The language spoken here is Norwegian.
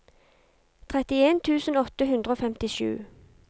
trettien tusen åtte hundre og femtisju